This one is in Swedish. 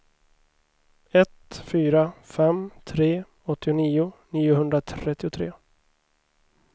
ett fyra fem tre åttionio niohundratrettiotre